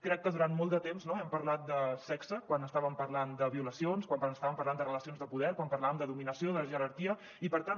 crec que durant molt de temps hem parlat de sexe quan estàvem parlant de violacions quan estàvem parlant de relacions de poder quan parlàvem de dominació de jerarquia i per tant